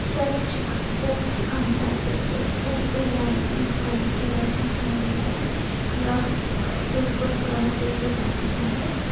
Church church ಕಾಣ್ತಾ ಇದೆ ಚರ್ಚಲ್ಲಿ ಫುಲ್ಲು ಲೈಟಿಂಗ್ಸಗಳು ಫುಲ್ ಲೈಟಿಂಗ್ ಮಾಡಿದ್ದಾರೆ ಪೇಪರ್ ಕಲರ್ ಪೇಪರ್ಸ್ ಕಾಣಿಸ್ತಾ ಇದಾವೆ.